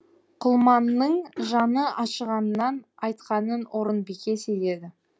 құлманның жаны ашығаннан айтқанын орынбике сезеді